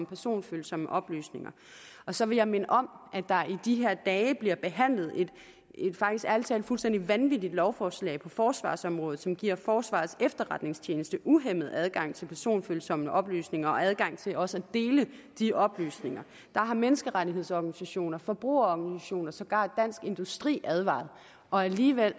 personfølsomme oplysninger og så vil jeg minde om at der i de her dage bliver behandlet et ærlig talt fuldstændig vanvittigt lovforslag på forsvarsområdet som giver forsvarets efterretningstjeneste uhæmmet adgang til personfølsomme oplysninger og adgang til også at dele de oplysninger menneskerettighedsorganisationer forbrugerorganisationer og sågar dansk industri har advaret og alligevel